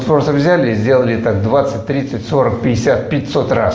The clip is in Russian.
просто взяли и сделали так двадцать тридцать сорок пятьдесят пятьсот раз